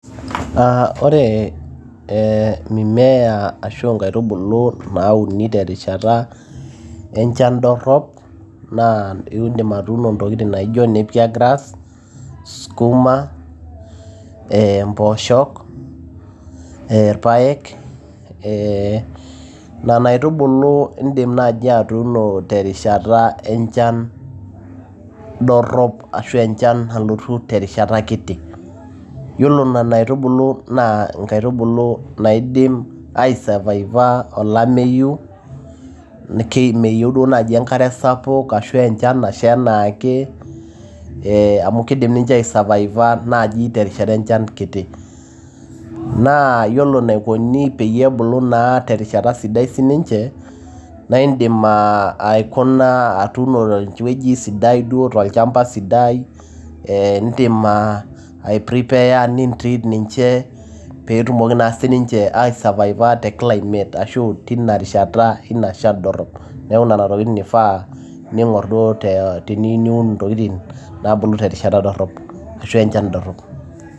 Ah ore eh mimea ashua nkaitubulu nauni terishata enchan dorrop, naa iidim atuuno intokiting' na ijo nappier grass ,sukuma, eh mpooshok, eh irpaek, nena aitubulu iidim naji atuuno terishata enchan dorrop ashu enchan nalotu terishata kiti. Yiolo nena aitubulu na nkaitubulu naidim aisavaiva olameyu. Meyieu duo nai enkare sapuk ashu enchan nasha enaake, amu kiidim ninche aisavaiva naji terishata enchan kiti. Naa yiolo enaikoni peyie ebulu naa terishata sidai sininche, naidim aikuna atuuno tewueji sidai duo tolchamba sidai, idim ai prepare nintrit ninche petumoki sininche aisavaiva te climate ashu tina rishata ina shan dorrop. Neeku nena tokiting' ifaa ning'or duo teniyieu niun intokiting' nabulu terishata dorrop ashu tenchan dorrop.